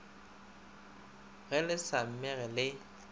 ge le sa mmege le